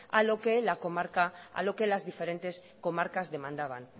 a lo que las diferentes comarcas demandaban